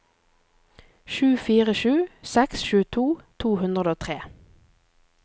sju fire sju seks tjueto to hundre og tre